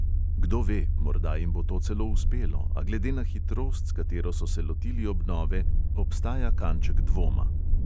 Kdo ve, morda jim bo to celo uspelo, a glede na hitrost, s katero so se lotili obnove, obstaja kanček dvoma.